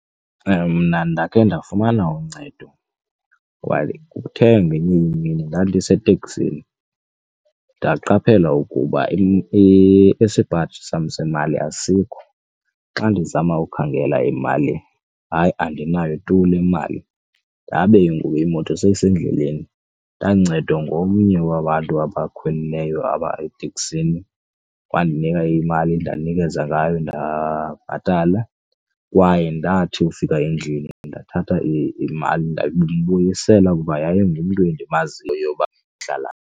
Mna ndakhe ndafumana uncedo while kuthe ngenye imini ndandiseteksini ndaqaphela ukuba isipaji sam semali asikho. Xa ndizama ukhangela emalini, hayi andinayo tu le mali ndabe ngoku imoto siyisendleleni. Ndancedwa ngomnye wabantu abakhwelileyo apha eteksini wandinika imali ndanikeza ngayo ndabhatala kwaye ndathi ufika endlini ndathatha imali ndambuyisela kuba yayingumntu endimaziyo uba uhlala .